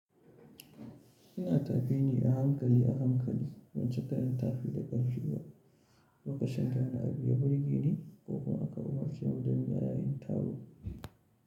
Ina tafi ni a hankali a hankali, ban cika yin tafi da ƙarfi ba, lokacin da wani abu ya burgeni ni ko kuma--